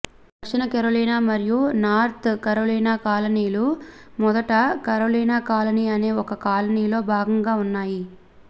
దక్షిణ కెరొలిన మరియు North Carolina కాలనీలు మొదట కరోలినా కాలనీ అనే ఒక కాలనీలో భాగంగా ఉన్నాయి